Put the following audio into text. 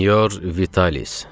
Sinyor Vitalis.